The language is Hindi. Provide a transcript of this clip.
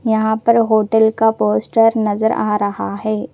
यहां पर होटल का पोस्टर नजर आ रहा है।